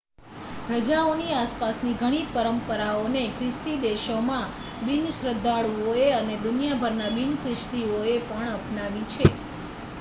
રજાઓની આસપાસની ઘણી પરંપરાઓને ખ્રિસ્તી દેશોમાં બિનશ્રદ્ધાળુઓ અને દુનિયાભરના બિન-ખ્રિસ્તીઓએ પણ અપનાવી છે